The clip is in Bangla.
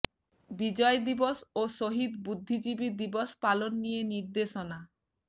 বিজয় দিবস ও শহীদ বুদ্ধিজীবী দিবস পালন নিয়ে নির্দেশনা